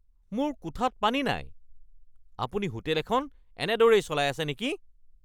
মোৰ কোঠাত পানী নাই! আপুনি হোটেল এখন এনেদৰেই চলাই আছে নেকি?